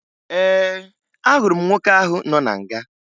Ee, ahụrụ m nwoke ahụ nọ na nga